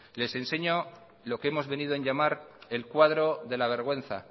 les enseño lo que hemos venido en llamar el cuadro de la vergüenza